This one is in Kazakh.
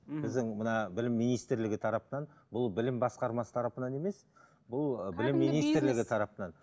ммм біздің мына білім министрлігі тарапынан бұл білім басқармасы тарапынан емес бұл